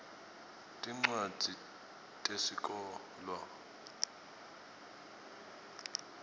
tincwadzi tesikolwa